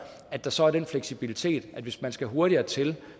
at der så er den fleksibilitet at hvis man skal hurtigere til